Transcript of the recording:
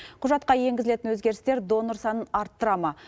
құжатқа енгізілетін өзгерістер донор санын арттыра ма